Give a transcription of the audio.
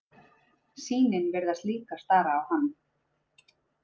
Sýnin virtist líka stara á hann.